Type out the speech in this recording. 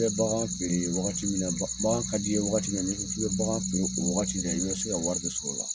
K'i bɛ bagan feere wagati min na bagan ka d'i ye wagati mi na n'i ko k'i bɛ bagan feere o wagati la i bɛ wari sɔrɔ a la